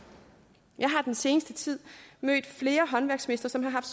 jeg har i den seneste tid mødt flere håndværksmestre som har haft